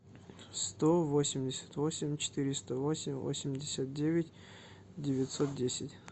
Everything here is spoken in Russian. сто восемьдесят восемь четыреста восемь восемьдесят девять девятьсот десять